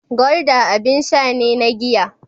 Gulder abin sha ne na giya.